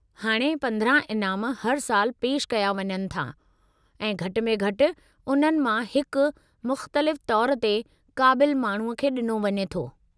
हाणे, 15 इनाम हर साल पेशि कया वञनि था, ऐं घटि में घटि उन्हनि मां हिकु मुख़्तलिफ़ तौर ते क़ाबिलु माण्हूअ खे ॾिनो वञे थो।